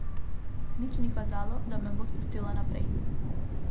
Nič ni kazalo, da me bo spustila naprej.